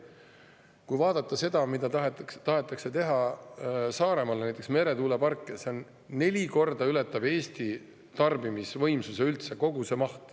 Kui vaadata näiteks seda meretuuleparki, mida tahetakse teha Saaremaale, siis kogu see maht ületab neli korda Eesti tarbimisvõimsuse üldse.